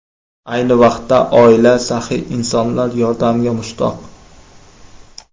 Ayni vaqtda oila saxiy insonlar yordamiga mushtoq.